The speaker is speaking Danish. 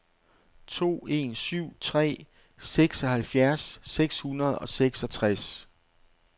to en syv tre seksoghalvfjerds seks hundrede og seksogtres